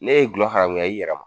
N'e ye dulɔ haramuya i yɛrɛ ma